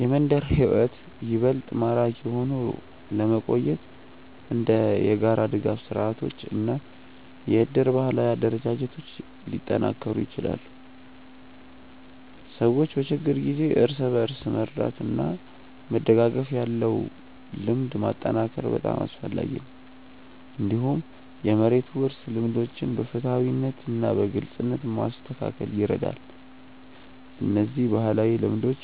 የመንደር ሕይወት ይበልጥ ማራኪ ሆኖ ለመቆየት እንደ የጋራ ድጋፍ ስርዓቶች እና የእድር ባህላዊ አደረጃጀቶች ሊጠናከሩ ይችላሉ። ሰዎች በችግር ጊዜ እርስ በርስ መርዳት እና መደጋገፍ ያለው ልምድ ማጠናከር በጣም አስፈላጊ ነው። እንዲሁም የመሬት ውርስ ልምዶችን በፍትሃዊነት እና በግልጽነት ማስተካከል ይረዳል። እነዚህ ባህላዊ ልምዶች